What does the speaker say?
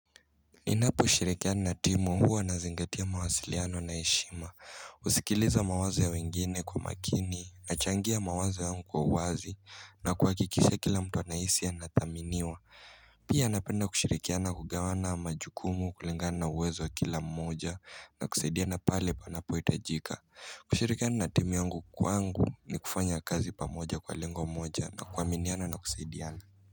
Ninaposhirikiana na timu huwa na zingatia mawasiliano na heshima husikiliza mawazo ya wengine kwa makini nachangia mawazo yangu kwa uwazi na kuhakikisha kila mtu anahisi anathaminiwa Pia napenda kushirikiana kugawana majukumu kulingana na uwezo wa kila mmoja na kusaidiana pale panapo hitajika kushirikiana na timu yungu kwangu ni kufanya kazi pamoja kwa lengo moja na kuaminiana na kusaidiana.